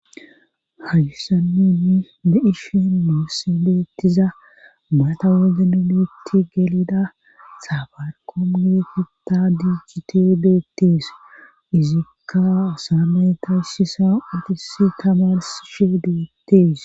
hayssannini be7ishen nuusi beettiza maata wogni nutti gelida sabarqom geetita diichite beettees izikka saame tayshisa utisi tamarsshe beettees